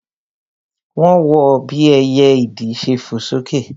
Wọ́n wọ bí ẹyẹ ìdì ṣe fò sókè